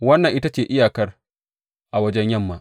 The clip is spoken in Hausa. Wannan ita ce iyakar a wajen yamma.